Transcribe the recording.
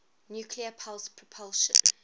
nuclear pulse propulsion